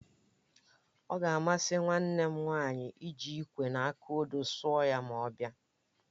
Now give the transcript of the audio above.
Ọ ga-amasị nwanne m nwaanyị iji ịkwé na aka odo sụọ ya ma ọ bịa